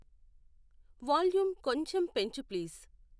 volume కొంచం పెంచు please